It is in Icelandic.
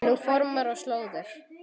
Nú á fornar slóðir.